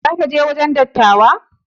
Za ka je wajen dattawan?